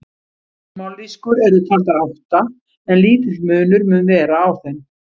Mállýskur eru taldar átta en lítill munur mun vera á þeim.